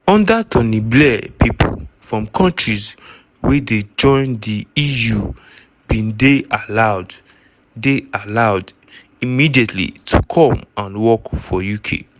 under tony blair pipo from kontris wey dey join di eu bin dey allowed dey allowed immediately to come and work for uk.